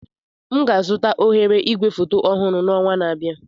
M ga-azụta oghere igwefoto ọhụrụ n'ọnwa na-abịa.